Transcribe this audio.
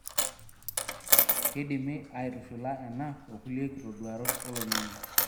Keidimi aitushula ena o kulie kitoduarot oloingange.